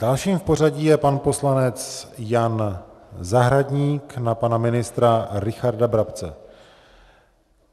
Dalším v pořadí je pan poslanec Jan Zahradník na pana ministra Richarda Brabce.